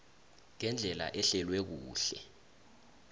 ngendlela ehlelwe kuhle